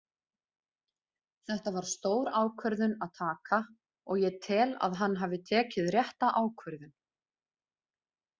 Þetta var stór ákvörðun að taka og ég tel að hann hafi tekið rétta ákvörðun.